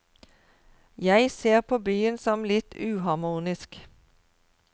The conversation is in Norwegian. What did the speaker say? Jeg ser på byen som litt uharmonisk.